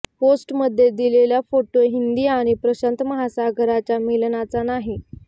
पोस्टमध्ये दिलेला फोटो हिंदी आणि प्रशांत महासागराच्या मिलनाचा नाही